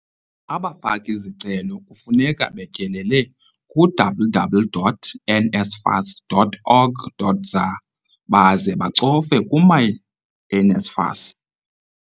Abafaki-zicelo kufuneka betyelele ku-www.nsfas.org.za baze bacofe ku-myNSFAS.